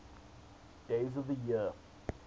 days of the year